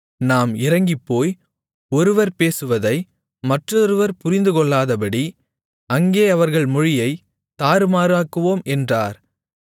நாம் இறங்கிப்போய் ஒருவர் பேசுவதை மற்றொருவர் புரிந்துகொள்ளாதபடி அங்கே அவர்கள் மொழியைத் தாறுமாறாக்குவோம் என்றார்